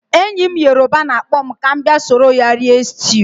Enyi m yoruba na-akpọ m ka m bia soro ya rie stew.